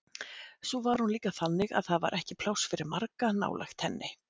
Svo var hún líka þannig að það var ekki pláss fyrir marga nálægt henni.